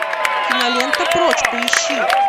кинолента прочь поищи